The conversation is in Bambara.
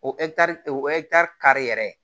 O o kari yɛrɛ